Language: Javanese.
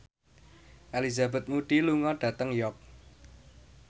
Elizabeth Moody lunga dhateng York